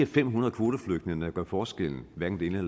fem hundrede kvoteflygtninge der gør forskellen hverken det ene